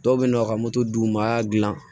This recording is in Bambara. Dɔw bɛ yen nɔ ka moto d'u ma a y'a dilan